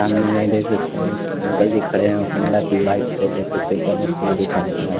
सामने में देख सकते हैं एक अंकल जी खड़े हैं हौंडा की बाइक पे देख सकते हैं क्या मस्त लोगो चमक रहा है।